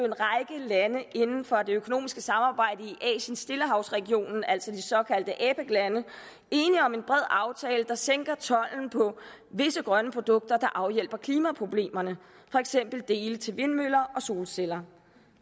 lande inden for det økonomiske samarbejde i asien stillehavsregionen altså de såkaldte apec lande enige om en bred aftale der sænker tolden på visse grønne produkter der afhjælper klimaproblemerne for eksempel dele til vindmøller og solceller